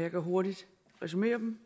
jeg kan hurtigt resumere dem